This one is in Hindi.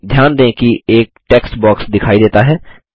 ध्यान दें कि एक टेक्स्ट बॉक्स दिखाई देता है